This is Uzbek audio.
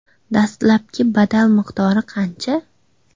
Dastlabki badal miqdori qancha?